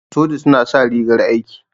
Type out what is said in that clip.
Soja suna sa rigar aiki.